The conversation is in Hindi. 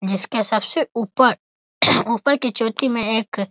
जिसके सबसे ऊपर ऊपर की चोटी में एक --